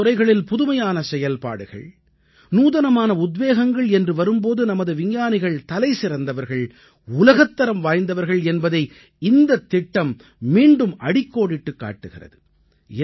புதிய துறைகளில் புதுமையான செயல்பாடுகள் நூதனமான உத்வேகங்கள் என்று வரும் போது நமது விஞ்ஞானிகள் தலைசிறந்தவர்கள் உலகத்தரம் வாய்ந்தவர்கள் என்பதை இந்தத் திட்டம் மீண்டும் அடிக்கோடிட்டுக் காட்டுகிறது